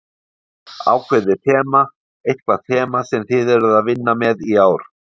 Ákveðið þema, eitthvað þema sem þið eruð að vinna með í ár?